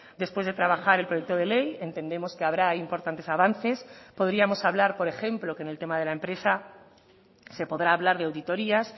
después de trabajar el proyecto de ley entendemos que habrá importantes avances podríamos hablar por ejemplo que en el tema de la empresa se podrá hablar de auditorías